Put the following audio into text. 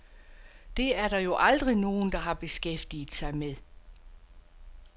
Det er der jo aldrig nogen, der har beskæftiget sig med.